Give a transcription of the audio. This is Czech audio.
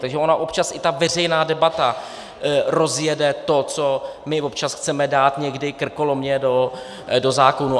Takže ona občas i ta veřejná debata rozjede to, co my občas chceme dát někdy krkolomně do zákona.